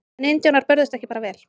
En indjánar börðust ekki bara vel.